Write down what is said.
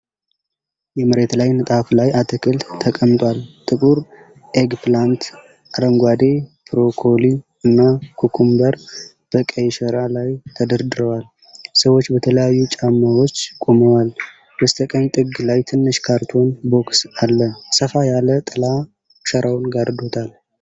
የመሬት ላይ ንጣፍ ላይ አትክልት ተቀምጧል። ጥቁር ኤግፕላንት፣ አረንጓዴ ብሮኮሊ እና ኩኩምበር በቀይ ሸራ ላይ ተደርድረዋል። ሰዎች በተለያዩ ጫማዎች ቆመዋል። በስተቀኝ ጥግ ላይ ትንሽ ካርቶን ቦክስ አለ። ሰፋ ያለ ጥላ ሸራውን ጋዶታል።